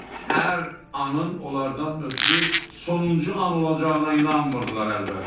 Hər anın onlardan ötrü sonuncu an olacağına inanmırdılar əlbət.